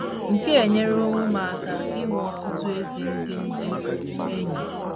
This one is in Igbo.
Nke a enyeworo m aka inwe ọtụtụ ezi ndị ndị enyi. ”